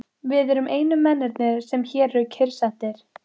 Við erum einu mennirnir, sem hér eru kyrrsettir.